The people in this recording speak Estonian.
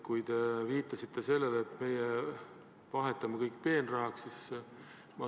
Te viitasite sellele, et meie vahetame kõik peenrahaks.